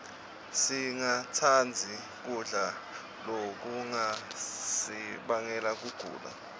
singatsandzi kudla lokungasibangela kugula